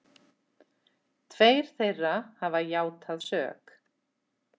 Tveir þeirra hafa játað sök